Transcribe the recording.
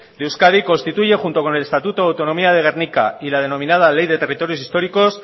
de euskadi constituye junto con el estatuto de autonomía de gernika y la denominada ley de territorios históricos